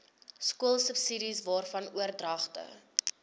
skoolsubsidies waarvan oordragte